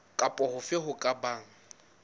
kapa hofe ho ka bang